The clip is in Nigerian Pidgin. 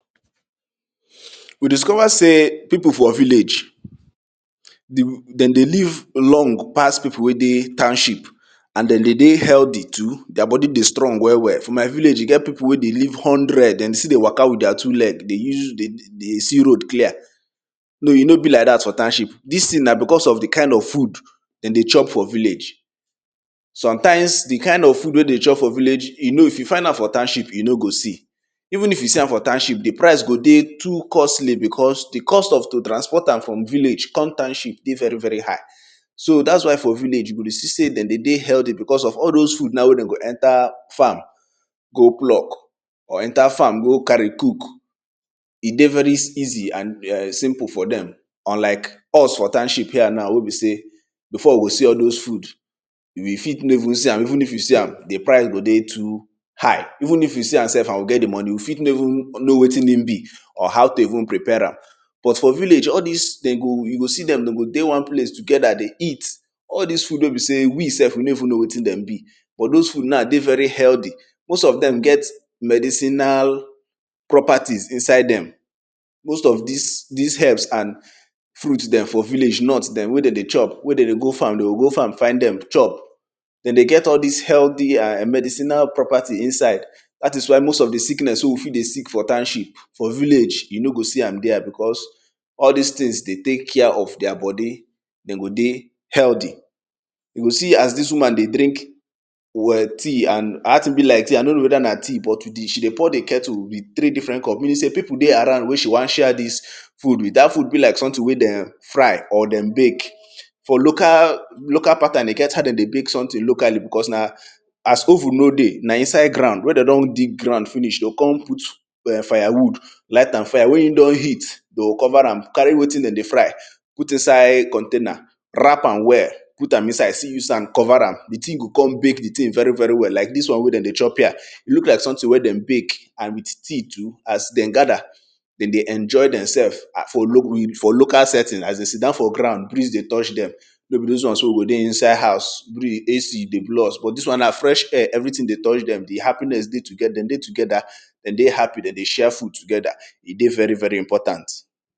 We discover sey pip for village den dey live long pass pipu wey dey township and de dey dey healthy too and their bodi dey stong well well. for my village e get pipu wey dey hundred and dey still dey waka with their two leg dey see road clear. No e no be like dat for township. Dis thing na di kind of food wey de dey chop for village. Sometimes di kind food wey de dey chop for village, if you find am for township, you no go see. Even f you see am for township di price go dey too costly because di cost to transport am from village come township dey very very high. So dats why for village you go dey see sey de dey healthy be cause of all those na wey den go enter fam go plug or enter farm go carry cook, e dey very easy and simple for dem unlike us for township here now wey be sey before we go see those food, we fit no even see am and even if we see am, di price go dey too high. Even if you see am, di price go ey too high, even if you see am and you get di moni, you fit no even know wetin in be or how to even prepare am. But for village all dis den go you go see den den go dey together dey eat, all dis food wey be sey we self we no even k ow wetin dem be cause thoe food na dey very healthy, most of dem get all dis medicinal properties inside dem. Most of dis herbs and fruits dem for village nut dem wey de dey chop wey dey dey go frm de go find dem chop. Den de get all dis healthy medicinal properties inside dat is why most of di sickness wey we fit dey sick for township, you o go see am because all this dey tek care of their bodi, de go dey healthy. You see as dis woman dey drink teas and dat thing be like teas I no know weda nna tea but she dey pour di kettle with three different cup meaning sey pipu dey around wey she won share dis food with dat thing be like something wey dem fry or dem bake. For local pattern e get as de dey bake something locally as[um]oven n dey, na inside grand, we de don dig grand finish de o kon put firewood light am cover am, carry wetin dem dey fry put inside container wrap am well put am inside still use sand cover am di thing o kon mek di thing very very well like dis won wey de dey chop here e look like something wey den go bake and teas too as den gather, de dey enjoy demselves for local setting as den st down for ground breeze dey touch dem those won so go dey inside ouse AC go blow us but dis won na fresh air, everything dey touch dem, di happiness den dey together, den dey happ y de dey share food together, e dey very very important.